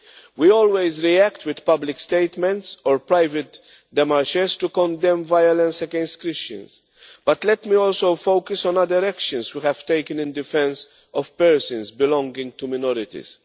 We always react with public statements or private demarches to condemn violence against Christians. Let me also focus on other actions we have taken in defence of persons belonging to minorities.